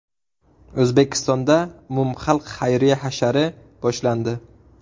O‘zbekistonda umumxalq xayriya hashari boshlandi.